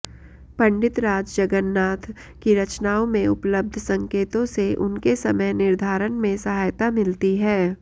पंडितराज जगन्नाथ की रचनाओं में उपलब्घ संकेतों से उनके समय निर्धारण में सहायता मिलती है